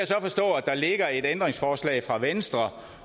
så forstå at der ligger et ændringsforslag fra venstre